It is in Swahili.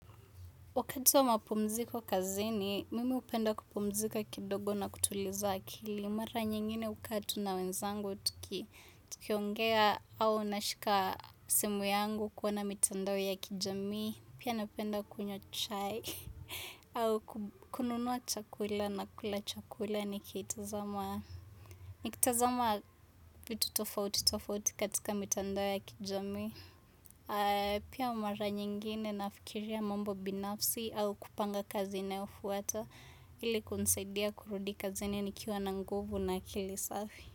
Wakati wa mapumziko kazini, mimi upenda kupumzika kidogo na kutuliza akilimara nyingine ukaa tu na wenzangu tuki tukiongea au nashika simu yangu kuona mitandao ya kijamii, pia napenda kunywa chai, au kub kununua chakula na kula chakula nikitazama ni kitazama vitu tofauti tofauti katika mitandao ya kijamii. Pia mara nyingine nafikiria mambo binafsi au kupanga kazi inayofuata ili kunsedia kurudi kazini nikiwa na nguvu na akili safi.